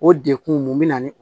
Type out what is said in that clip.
O dekun mun bɛ na ni